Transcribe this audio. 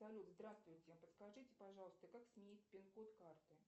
салют здравствуйте подскажите пожалуйста как сменить пин код карты